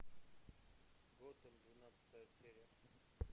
готэм двенадцатая серия